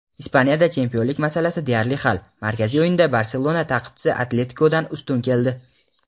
Ispaniyada chempionlik masalasi deyarli hal: markaziy o‘yinda "Barselona" ta’qibchisi "Atletiko"dan ustun keldi.